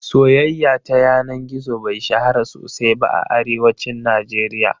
Soyaya ta yana gizo bai shahara sosai ba a Arewacin Najeriya